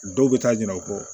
Dɔw bɛ taa ɲinan o kɔ